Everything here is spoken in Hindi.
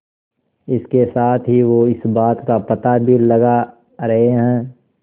इसके साथ ही वो इस बात का पता भी लगा रहे हैं